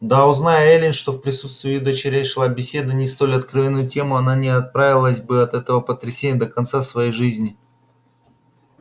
да узнай эллин что в присутствии её дочерей шла беседа не столь откровенную тему она не оправилась бы от этого потрясения до конца своей жизни